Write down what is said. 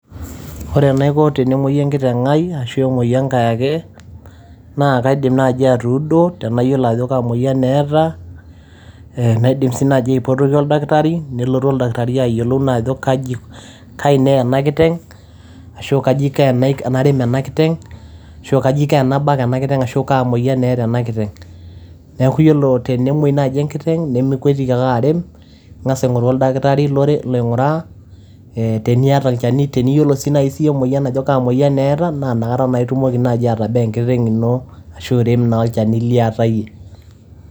Ore enaiko tenemuoyu enkiteng ai ashu emuoyu enkae ake, naa kaidim naaji atuudo tenayiolo ajo kaa moyian eeta. Naidim sii naaji aipotoki oldakitari nelotu aldakitari ayiolou ajo kaji neya ena kiteng, ashu kaji aiko tena tenarem ena kiteng ashu kaji aiko tenabak ena kiteng ashu kaa moyian eeta ena kiteng. Niaku yiolo tenemuoi naaji enkiteng nimikwetiki ake arem, ing`as aing`oru oldakitari loing`uraa. Teniata olchani teniyiolo naaji siiyie ajo kaa moyian eeta naa kata itumoki naaji atabaa enkiteng ino ashu irem naa olchani liyata iyie.